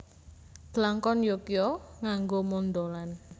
Blangkon Yogya nganggo mondholan